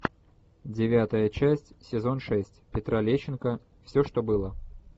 девятая часть сезон шесть петра лещенко все что было